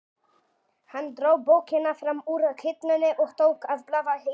Hann dró bókina fram úr hillunni og tók að blaða í henni.